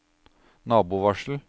nabovarsel